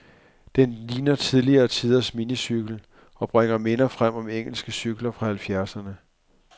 Den ligner tidligere tiders minicykel, og bringer minder frem om engelske cykler fra halvfjerdserne.